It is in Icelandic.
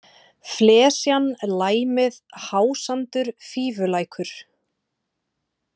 Flesjan, Læmið, Hásandur, Fífulækur